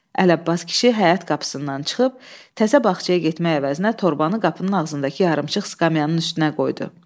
Əli Abbas kişi həyət qapısından çıxıb təzə bağçaya getməyə əvəzinə torbanı qapının ağzındakı yarımçıq skamyasının üstünə qoydu.